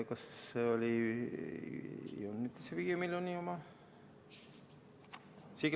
Kas see oli see 5 miljoni oma?